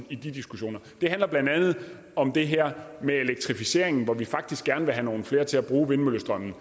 i de diskussioner det handler blandt andet om det her med elektrificeringen hvor vi faktisk gerne vil have nogle flere til at bruge vindmøllestrømmen